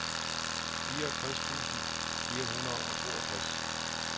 fireogtres tusind fire hundrede og toogtres